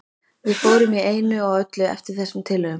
Við fórum í einu og öllu eftir þessum tillögum.